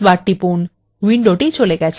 control key ধরে রেখে space bar চাপুন